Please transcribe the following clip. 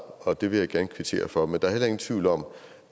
og det vil jeg gerne kvittere for men der er heller ingen tvivl om